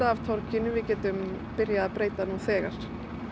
af torginu við getum byrjað að breyta nú þegar